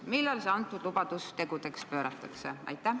Millal see antud lubadus tegudeks pööratakse?